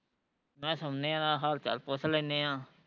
ਮੈਂ ਕਿਹਾਂ ਸੋਂਦੇ ਆ ਨਾਲੇ ਹਾਲ ਚਾਲ ਪੁੱਛ ਲੈਣੇ ਆ